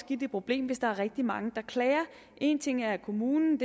problem hvis der er rigtig mange der klager en ting er at kommunen